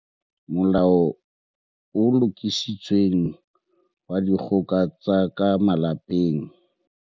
Molao o Lokisitsweng wa Dikgoka tsa ka Malapeng